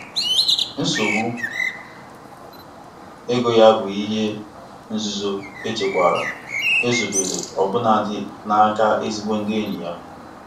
um Ọ um gbalịsiri ike ime ka omume mmefu nzuzo ya dị n'otu echiche ịkwụsike ego ọ chọrọ igosi.